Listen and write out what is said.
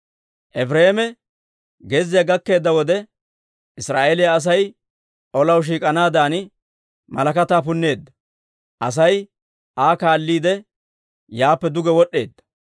Efireema gezziyaa gakkeedda wode, Israa'eeliyaa Asay olaw shiik'anaadan malakataa punneedda; Asay Aa kaalliide, yaappe duge wod'd'eedda.